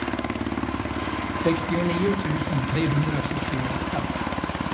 sextionio tusen trehundrasjuttioåtta